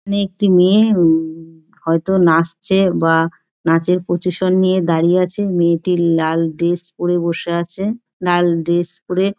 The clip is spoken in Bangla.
এখানে একটি মেয়ে হুম হয়তো নাচছে বা নাচের পজিশন নিয়ে দাঁড়িয়ে আছে মেয়েটির লাল ড্রেস পরে বসে আছে লাল ড্রেস পরে--